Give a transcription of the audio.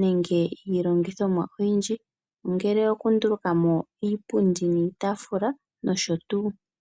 nenge iilongithomwa oyindji. Ongele okunduluka mo iipundi niitaafula nosho tuu.